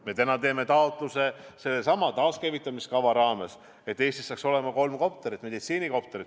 Me täna teeme sellesama taaskäivitamise kava raames taotluse, et Eestis saaks olema kolm meditsiinikopterit.